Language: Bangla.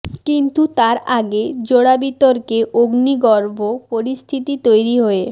কিন্তু তার আগে জোড়া বিতর্কে অগ্নিগর্ভ পরিস্থিতি তৈরি হয়ে